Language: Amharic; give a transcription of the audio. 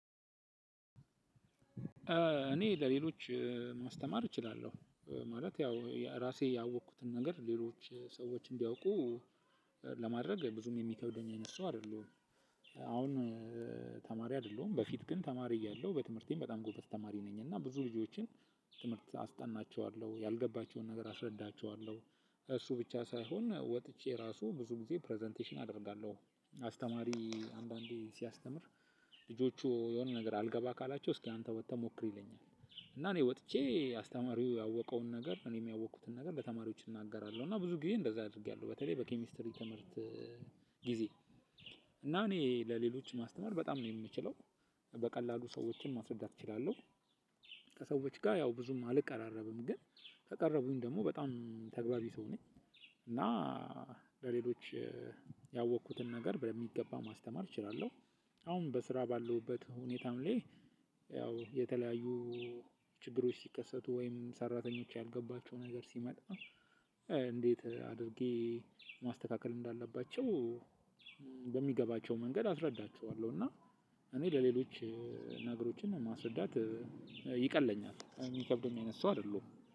እኔ ለሌሎች ማስተማር እችላለሁ ማለት ያው ያ እራሴ ያወኩትን ነገር ሌሎች ሰዎች እንዲያውቁ ለማድረግ ብዙም የሚከብደኝ አይነት ሰው አይደለሁም። አሁን ተማሪ አይደለሁም በፊት ግን ተማሪ እያለሁ በትምህርቴም በጣም ጎበዝ ተማሪ ነኝ እና ብዙ ልጆችን ትምህርት አስጠናቸዋለሁ ያልገባቸውን ነገር አስረዳቸዋለሁ። እሱ ብቻ ሳይሆን ወጥቼ ራሱ ብዙ ጊዜ ፕረዘንቴሽን አደርጋለሁ አስተማሪ አንዳንዴ ሲያስተምር ልጆቹ የሆነ ነገር አልገባ ካላቸው እስኪ አንተ ወጥተህ ሞክር ይለኛል። እና እኔ ወጥቼ አስተማሪው ያወቀውን ነገር እኔም ያወቅኩትን ነገር ለተማሪዎች እናገራለሁ እና ብዙ ጊዜ እንደዛ አድርጌያለሁ በተለይ በኬሚስትሪ ትምህርት ጊዜ። እና እኔ ለሌሎች ማስተማር በጣም ነው የምችለው በቀላሉ ሰዎችን ማስረዳት እችላለሁ። ከሰዎች ጋ ያው ብዙም አልቀራረብም ግን ከቀረቡኝ ደግሞ በጣም ተግባቢ ሰው ነኝ። እና ለሌሎች ያወቅኩትን ነገር በሚገባ ማስተማር እችላለሁ። አሁን በስራ ባለውበት ሁኔታም ላይ የተለያዩ ችግሮች ሲከሰቱ ወይም ሰራተኞች ያልገባቸው ነገር ሲመጣ። እንዴት አድርጌ ማስተካከል እንዳለባቸው በሚገባቸው መንገድ አስረዳቸዋለሁ። እና እኔ ለሌሎች ነገሮችን ማስረዳት ይቀለኛል የሚከብደውም አይነት ሰው አይደለሁም።